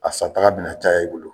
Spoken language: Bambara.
A sa taga bɛna caya i bolo.